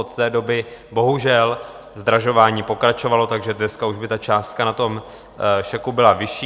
Od té doby bohužel zdražování pokračovalo, takže dneska už by ta částka na tom šeku byla vyšší.